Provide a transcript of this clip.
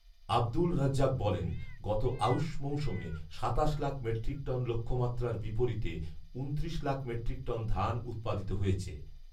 আব্দুর রাজ্জাক বলেন, গত আঊশ মৌসুমে সাতাশ লাখ মেট্রিক টন লক্ষ্যমাত্রার বিপরীতে উনত্রিশ লাখ মেট্রিক টন ধান উৎপাদিত হয়েছে